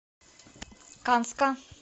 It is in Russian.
канска